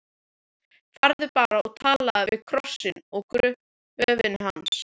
Farðu bara og talaðu við krossinn á gröfinni hans.